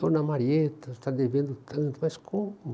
Dona Marieta está devendo tanto, mas como?